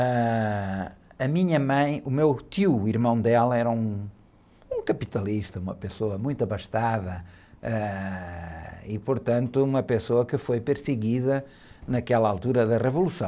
Ãh... A minha mãe, o meu tio, o irmão dela, era um, um capitalista, uma pessoa muito abastada, ãh, e, portanto, uma pessoa que foi perseguida naquela altura da Revolução.